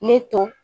Ne to